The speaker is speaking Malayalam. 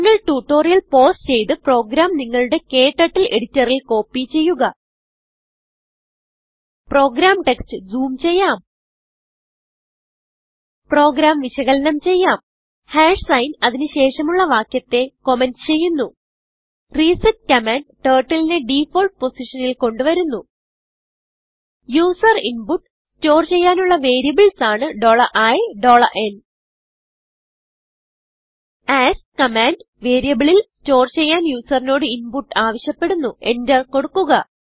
നിങ്ങൾ ട്യൂട്ടോറിയൽ പൌസ് ചെയ്ത് പ്രോഗ്രാം നിങ്ങളുടെ ക്ടർട്ടിൽ editorൽ കോപ്പി ചെയ്യുക പ്രോഗ്രാം ടെക്സ്റ്റ് zoomചെയ്യാം പ്രോഗ്രാം വിശകലനം ചെയ്യാം സൈൻ അതിന് ശേഷമുള്ള വാക്യത്തെ കമന്റ് ചെയ്യുന്നു resetകമാൻഡ് turtleനെ ഡിഫാൾട്ട് പൊസിഷനിൽ കൊണ്ടു വരുന്നു യൂസർ ഇൻപുട്ട് സ്റ്റോർ ചെയ്യാനുള്ള വേരിയബിൾസാണ് i n ആസ്ക് കമാൻഡ് വേരിയബിളിൽ സ്റ്റോർ ചെയ്യാൻ യൂസറിനോട് inputആവിശ്യപ്പെടുന്നുenter കൊടുക്കുക